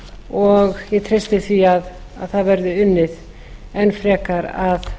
og ég treysti því að það verði unnið enn frekar að